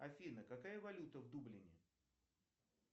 афина какая валюта в дублине